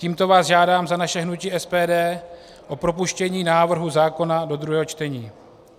Tímto vás žádám za naše hnutí SPD o propuštění návrhu zákona do druhého čtení.